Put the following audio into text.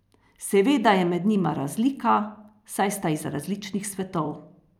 Seveda je med njima razlika, saj sta iz različnih svetov.